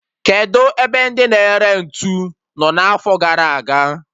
Kedụ ebe ndị na-ere ntụ nọ n'afo gara aga?